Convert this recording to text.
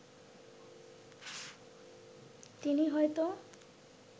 তিনি হয়তো